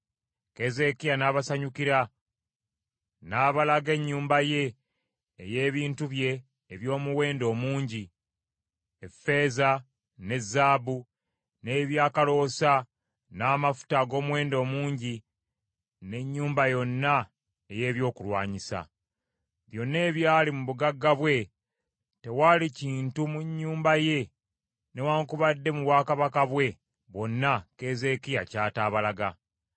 Keezeekiya n’abasanyukira, n’abalaga ennyumba ye ey’ebintu bye eby’omuwendo omungi, effeeza ne zaabu, n’ebyakaloosa, n’amafuta ag’omuwendo omungi, n’ennyumba yonna ey’ebyokulwanyisa. Byonna ebyali mu bugagga bwe, tewaali kintu mu nnyumba ye newaakubadde mu bwakabaka bwe bwonna Keezeekiya ky’ataabalaga.